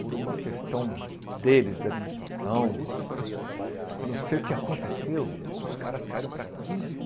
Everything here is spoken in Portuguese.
Por uma questão deles, da administração, não sei o que aconteceu, os caras caíram para quinze